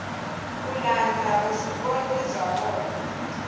ku landza vuswikoti bya vona